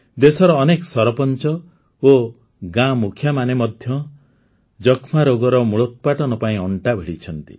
ଦେଶର ଅନେକ ସରପଞ୍ଚ ଓ ଗାଁ ମୁଖିଆମାନେ ମଧ୍ୟ ଯକ୍ଷ୍ମା ରୋଗର ମୂଳୋତ୍ପାଟନ ପାଇଁ ଅଂଟା ଭିଡ଼ିଛନ୍ତି